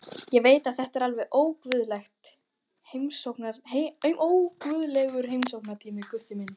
Ég veit að þetta er alveg óguðlegur heimsóknartími, Gutti minn.